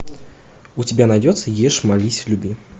у тебя найдется ешь молись люби